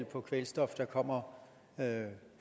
på kvælstof der kommer